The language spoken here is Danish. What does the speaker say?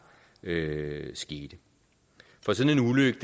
skete for sådan